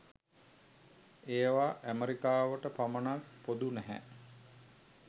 ඒවා ඇමෙරිකාවට පමණක් පොදු නැහැ